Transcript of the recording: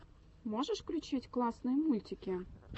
можешь включить классные мультики